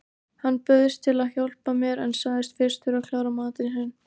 Hann bauðst til að hjálpa mér en sagðist fyrst þurfa að klára matinn sinn.